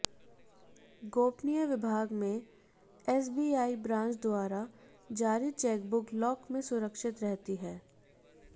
गोपनीय विभाग में एसबीआई ब्रांच द्वारा जारी चेकबुक लॉक में सुरक्षित रहती है